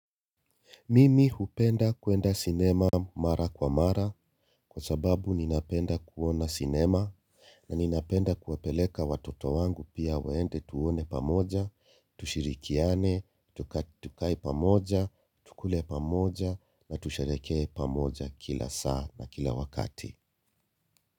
Mimi hupenda kuenda sinema mara kwa mara kwa sababu ninapenda kuona sinema na ninapenda kuwapeleka watoto wangu pia waende tuone pamoja, tushirikiane, tukae pamoja, tukule pamoja na tusherehekee pamoja kila saa na kila wakati.